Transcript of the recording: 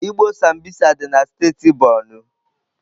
Igbo Sambisa dị na steeti Borno.